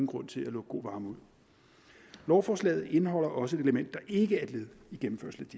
grund til at lukke god varme ud lovforslaget indeholder også et element der ikke er et led